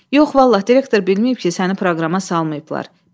Yox vallah, direktor bilməyib ki, səni proqrama salmayıblar.